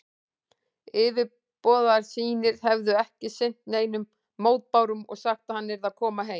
Yfirboðarar sínir hefðu ekki sinnt neinum mótbárum og sagt, að hann yrði að koma heim.